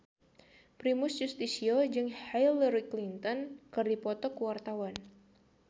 Primus Yustisio jeung Hillary Clinton keur dipoto ku wartawan